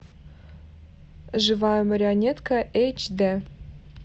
живая марионетка эйч дэ